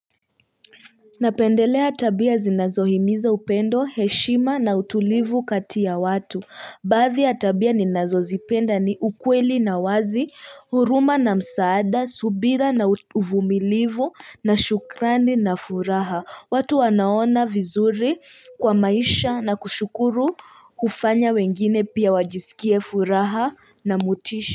Napendelea tabia zinazohimiza upendo, heshima na utulivu kati ya watu. Baadhi ya tabia ninazozipenda ni ukweli na wazi, huruma na msaada, subira na uvumilivu na shukrani na furaha. Watu wanaona vizuri kwa maisha na kushukuru kufanya wengine pia wajisikie furaha na motisha.